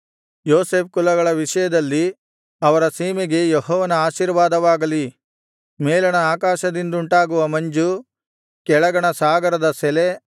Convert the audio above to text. ಯೋಸೇಫ್ ಕುಲಗಳ ವಿಷಯದಲ್ಲಿ ಅವರ ಸೀಮೆಗೆ ಯೆಹೋವನ ಆಶೀರ್ವಾದವಾಗಲಿ ಮೇಲಣ ಆಕಾಶದಿಂದುಂಟಾಗುವ ಮಂಜು ಕೆಳಗಣ ಸಾಗರದ ಸೆಲೆ